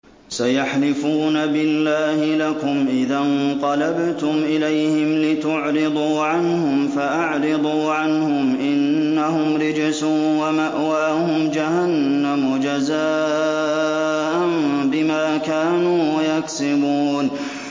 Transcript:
سَيَحْلِفُونَ بِاللَّهِ لَكُمْ إِذَا انقَلَبْتُمْ إِلَيْهِمْ لِتُعْرِضُوا عَنْهُمْ ۖ فَأَعْرِضُوا عَنْهُمْ ۖ إِنَّهُمْ رِجْسٌ ۖ وَمَأْوَاهُمْ جَهَنَّمُ جَزَاءً بِمَا كَانُوا يَكْسِبُونَ